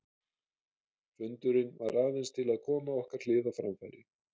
Fundurinn var aðeins til að koma okkar hlið á framfæri.